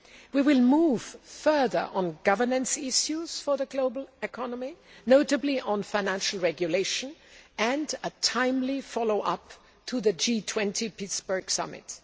We will move further on governance issues for the global economy, notably on financial regulation and a timely follow up to the G20 Pittsburgh Summit.